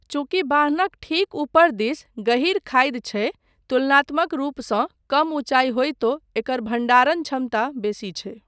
चूँकि बान्हक ठीक ऊपर दिस गहीर खाधि छै, तुलनात्मक रूपसँ कम ऊंचाई होइतो एकर भण्डारण क्षमता बेसी छै।